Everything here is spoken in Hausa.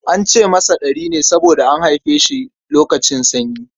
An ce masa Ɗari ne saboda an haife shi lokacin sanyi.